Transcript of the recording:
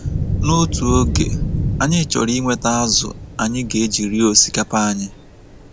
N’otu oge, anyị chọrọ inweta azụ̀ anyị ga-eji rie osikapa anyị.